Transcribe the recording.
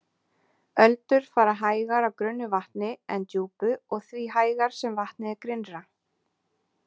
Öldur fara hægar á grunnu vatni en djúpu og því hægar sem vatnið er grynnra.